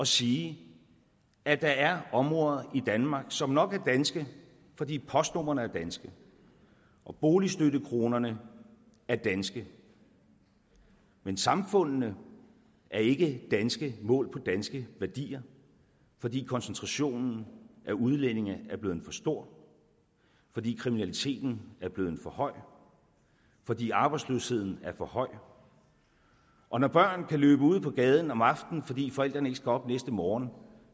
sige at der er områder i danmark som nok er danske fordi postnumrene er danske og boligstøttekronerne er danske men samfundene er ikke danske målt på danske værdier fordi koncentrationen af udlændinge er blevet for stor fordi kriminaliteten er blevet for høj fordi arbejdsløsheden er for høj og når børn kan løbe ude på gaden om aftenen fordi forældrene ikke skal op næste morgen